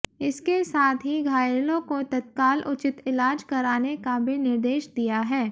इसके साथ ही घायलों को तत्काल उचित इलाज कराने का भी निर्देश दिया है